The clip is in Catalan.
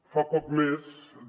fa poc més de